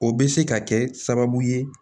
O bɛ se ka kɛ sababu ye